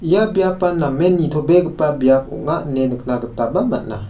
ia biapan namen nitobegipa biap ong·a ine nikna gitaba man·a.